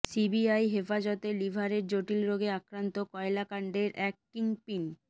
CBI হেফাজতে লিভারের জটিল রোগে আক্রান্ত কয়লা কাণ্ডের এক কিংপিন